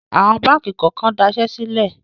Awọ̀n báńkì kọ̀ọ̀kan dasẹ́ sílẹ̀.